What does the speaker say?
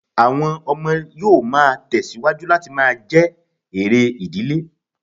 Àwọn ọmọ yóò má tẹ̀ síwájú láti máa jẹ́ èrè ìdílé